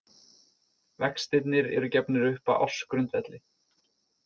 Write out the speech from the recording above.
Vextirnir eru gefnir upp á ársgrundvelli.